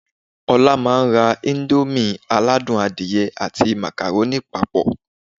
Ọlá máa ra íńdómì aládùn adìyẹ àti màkàrónì papọ̀